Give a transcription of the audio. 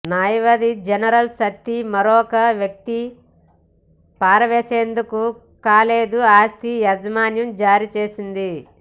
న్యాయవాది జనరల్ శక్తి మరొక వ్యక్తి పారవేసేందుకు కాలేదు ఆస్తి యజమాని జారీ చేసింది